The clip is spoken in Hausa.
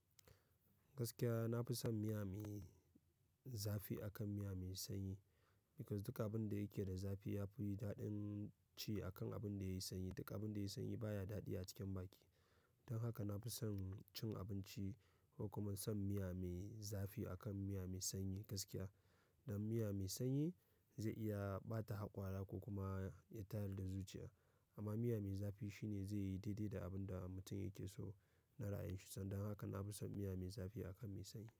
Gaskiya na fi son miya me zafi akan miya me sanyi because duk abin da yake da zafi ya fi daɗin ci akan abin da yayi sanyi. Duk abin da yayi sanyi baya daɗi a cikin baki. Don haka nafison cin abinci ko kuma son miya me zafi akan miya me sanyi gaskiya. Dan miya me sanyi zai iya ɓata haƙwara ko kuma ya tayar da zuciya amma miya me zafi shi ne zai yi daidai da abun da mutun yake so na ra'ayin shi. Sannan haka na fi son miya me zafi akan me sanyi.